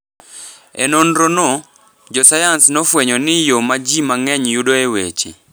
E nonrono, jo sayans nofwenyo ni yo ma ji mang’eny yudoe weche .